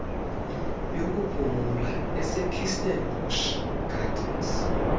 yokuphumla esekirstenbosch gardens